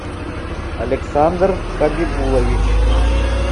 александр хабибулович